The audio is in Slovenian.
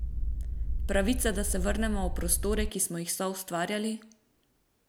Pravica, da se vrnemo v prostore, ki smo jih soustvarjali?